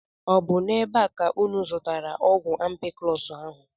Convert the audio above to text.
Ọ bụ n'ebe a ka unu zụtara ọgwụ ampiclọs ahụ?